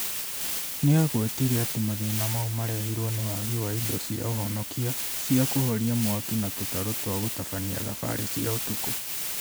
Nĩagwetire atĩ mathĩna mau marehirwo nĩ wagĩ wa ĩndo cĩa ũhonokĩa, cĩa kũhorĩa mwakĩ na tũtarũ twa gũtabania thabarĩ cia ũtũkũ